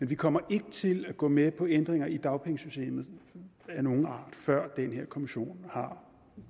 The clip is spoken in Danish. vi kommer ikke til at gå med på ændringer i dagpengesystemet af nogen art før den her kommission har